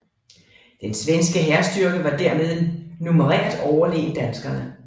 Den svenske hærstyrke var derved numerært overlegen danskerne